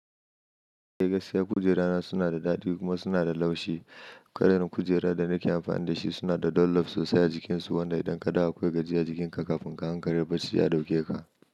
Kai gaskiya kujerana suna da daɗi kuma suna da laushi. Kwarin kujera da nake amfani da shi suna da dollop sosai a jikinsu, wanda idan kaɗawa akwai gajiya jikinka kafin ka hankali barci ya ɗauke ka.